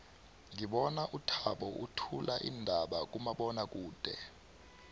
ngibona uthabo uthula iindaba kumabonwakude